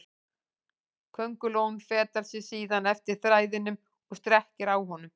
Köngulóin fetar sig síðan eftir þræðinum og strekkir á honum.